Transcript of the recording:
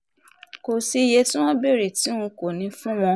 kò sí iye tí wọ́n béèrè tí n kò ní í fún wọn